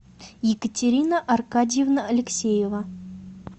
екатерина аркадьевна алексеева